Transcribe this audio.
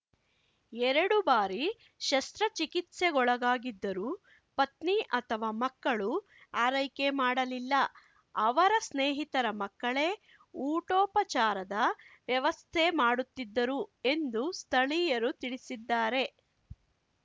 ಎರಡು ಬಾರಿ ಶಸ್ತ್ರ ಚಿಕಿತ್ಸೆಗೊಳಗಾಗಿದ್ದರೂ ಪತ್ನಿ ಅಥವಾ ಮಕ್ಕಳು ಆರೈಕೆ ಮಾಡಲಿಲ್ಲ ಅವರ ಸ್ನೇಹಿತರ ಮಕ್ಕಳೇ ಊಟೋಪಚಾರದ ವ್ಯವಸ್ಥೆ ಮಾಡುತ್ತಿದ್ದರು ಎಂದು ಸ್ಥಳೀಯರು ತಿಳಿಸಿದ್ದಾರೆ